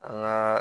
An ka